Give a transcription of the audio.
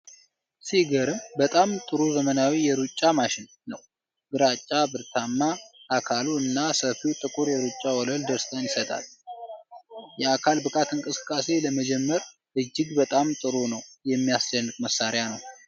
ሲገርም በጣም ጥሩ ዘመናዊ የሩጫ ማሽን ነው። ግራጫ ብረታማ አካሉ እና ሰፊው ጥቁር የሩጫ ወለል ደስታን ይሰጣል። የአካል ብቃት እንቅስቃሴ ለመጀመር እጅግ በጣም ጥሩ የሚያስደንቅ መሳሪያ ነው!